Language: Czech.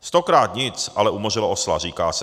Stokrát nic ale umořilo osla, říká se.